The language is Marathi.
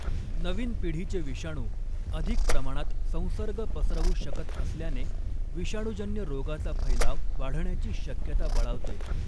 नवीन पिढीचे विषाणू अधिक प्रमाणात संसर्ग पसरवू शकत असल्याने विषाणूजन्य रोगाचा फ़ैलाव वाढण्याची शक्यता बळावते.